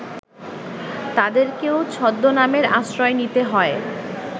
তাঁদেরকেও ছদ্মনামের আশ্রয় নিতে হয়